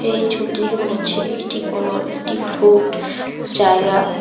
এই ছবিটি দেখে মনে হচ্ছে এটি কোন একটি ফ্রুট জায়গা।